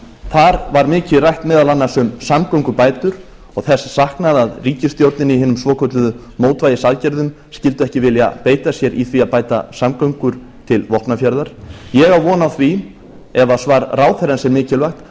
þar var mikið rætt meðal annars um samgöngubætur og þess saknað að ríkisstjórnin í hinum svokölluðu mótvægisaðgerðum skyldi ekki vilja beita sér í því að bæta samgöngur til vopnafjarðar ég á von á því ef svar ráðherrans er mikilvægt